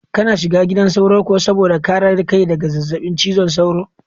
Kana shiga gidan sauro kuwa saboda kare kai daga zazzabin cizon sauro?